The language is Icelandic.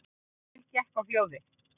Emil gekk á hljóðið.